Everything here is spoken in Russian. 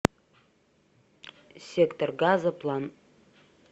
сектор газа план